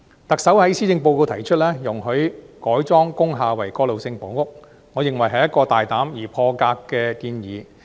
特首在施政報告提出容許改裝工廈為過渡性房屋，我認為是大膽而破格的建議。